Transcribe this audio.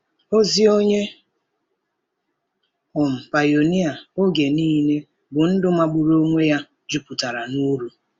Ozi onye um pionia oge niile bụ ndụ magburu onwe ya, jupụtara n’uru.